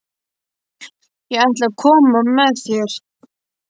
Ég ætla að koma með þér!